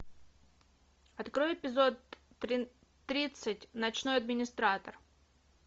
открой эпизод тридцать ночной администратор